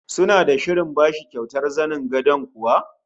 Suna da shirin bashi kyautar zanen gadon kuwa?